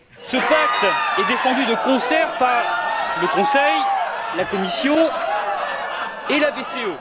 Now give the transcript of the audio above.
Ce pacte est défendu de concert par le Conseil, la Commission et la BCE.